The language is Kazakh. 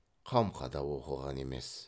қамқа да оқыған емес